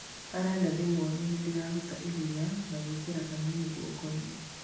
arendaga ndĩmũonie nĩndĩraruta iria na gwĩkĩra kanini gũoko-inĩ.